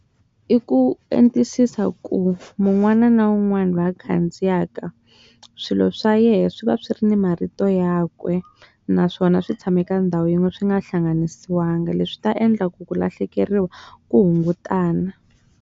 I ku etisisa ku munhu un'wana na un'wana va ya khandziyaka swilo swa yena swi va swi ri na marito ya kwe naswona swi tshama eka ndhawu yin'we swi nga hlanganisiwa leswi swi tata endla ku ku lahlekeriwa ku hungutana.